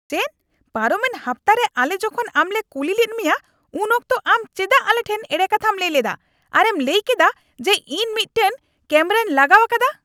ᱪᱮᱫ ? ᱯᱟᱨᱚᱢᱮᱱ ᱦᱟᱯᱛᱟ ᱨᱮ ᱟᱞᱮ ᱡᱚᱠᱷᱚᱱ ᱟᱢᱞᱮ ᱠᱩᱞᱤ ᱞᱮᱫ ᱢᱮᱭᱟ ᱩᱱ ᱚᱠᱛᱚ ᱟᱢ ᱪᱮᱫᱟᱜ ᱟᱞᱮᱴᱷᱮᱱ ᱮᱲᱮ ᱠᱟᱛᱷᱟᱢ ᱞᱟᱹᱭ ᱞᱮᱫᱟ ᱟᱨᱮᱢ ᱞᱟᱹᱭ ᱠᱮᱫᱟ ᱡᱮ ᱤᱧ ᱢᱤᱫᱴᱟᱝ ᱠᱮᱢᱨᱟᱹᱧ ᱞᱟᱜᱟᱣ ᱟᱠᱟᱫᱟ ? (ᱯᱩᱞᱤᱥ)